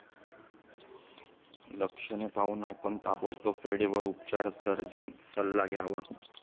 लक्षणे पाहून, आपण ताबडतोब वेळेवर उपचार सर्जन सल्ला घ्यावा.